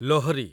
Lohri